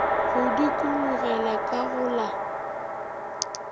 go dikologela ka go la